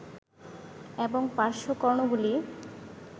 এবং পার্শ্বকর্ণগুলি